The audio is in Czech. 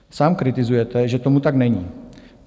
Sám kritizujete, že tomu tak není.